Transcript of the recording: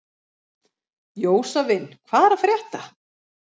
Jósavin, hvað er að frétta?